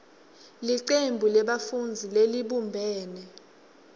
licembu lebafundzi lelibumbene